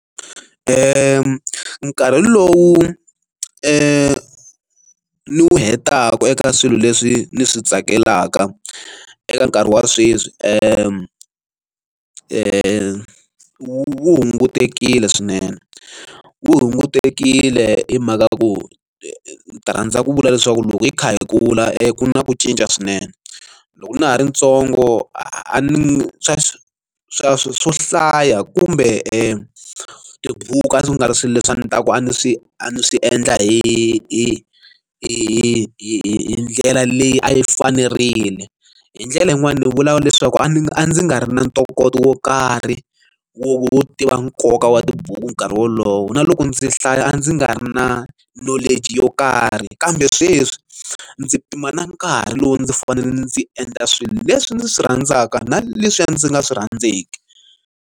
Nkarhi lowu ni wu hetaka eka swilo leswi ni swi tsakelaka eka nkarhi wa sweswi ku wu hungutile swinene wu hungutile hi mhaka ya ku rhandza ku vula leswaku loko hi kha hi kula na ku cinca swinene loko na ha ri ntsongo a ni swa swa swo hlaya kumbe tibuku a ndzi nga ri swilo leswi a ndzi ta ku a ni swi a ni swi endla hi hi hi hi ndlela leyi a yi fanerile hi ndlela yin'wani ni vula leswaku a ndzi a ndzi nga ri na ntokoto wo karhi wo tiva nkoka wa tibuku nkarhi wolowo na loko ndzi hlaya a ndzi nga ri na nhlonge yo karhi kambe sweswi ndzi pima na nkarhi lowu ndzi fanele ndzi endla swilo leswi ndzi swi rhandzaka na leswiya ndzi nga swi rhandzeki.